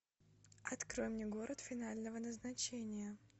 открой мне город финального назначения